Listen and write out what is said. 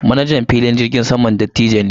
Manajan filin jirgin saman dattijo ne.